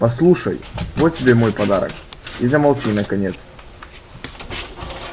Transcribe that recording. послушай вот тебе мой подарок и замолчи наконец